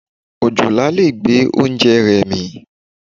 Òjòlá lè gbé oúnjẹ rẹ mì.